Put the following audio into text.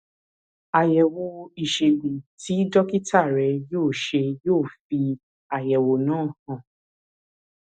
àyẹwò ìṣègùn tí dókítà rẹ yóò ṣe yóò fi àyẹwò náà hàn